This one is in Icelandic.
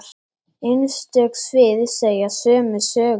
Einstök svið segja sömu sögu.